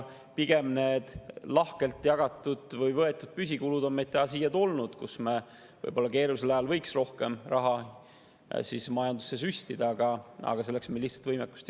Pigem on lahkelt jagatud või võetud püsikulud toonud meid täna siia, kus me võiks keerulisel ajal majandusse rohkem raha süstida, aga selleks ei ole meil lihtsalt võimekust.